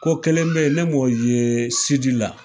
Ko kelen be yen, ne m'o ye sidi la.